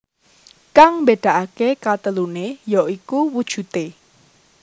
Kang mbédakaké kateluné ya iku wujudé